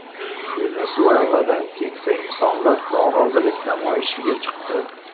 Venesuelada keksa insonlar norozilik namoyishiga chiqdi.